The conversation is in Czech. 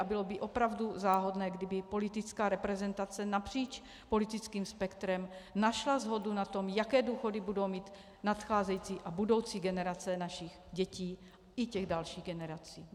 A bylo by opravdu záhodno, kdyby politická reprezentace napříč politickým spektrem našla shodu na tom, jaké důchody budou mít nadcházející a budoucí generace našich dětí i těch dalších generací.